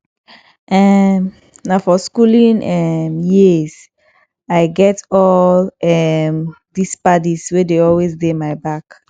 um na for skooling um years i get all um these paddy wey dey always dey my back